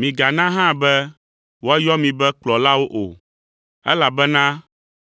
Migana hã be woayɔ mi be kplɔlawo o, elabena